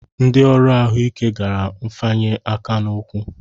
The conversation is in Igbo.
Ndị ọrụ ahụike gara mfanye aka n'ụkwụ